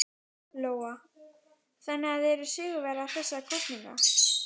Lóa: Þannig að þið eruð sigurvegarar þessara kosninga?